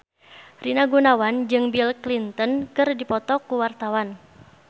Rina Gunawan jeung Bill Clinton keur dipoto ku wartawan